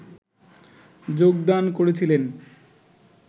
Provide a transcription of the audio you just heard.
যোগদান করেছিলেন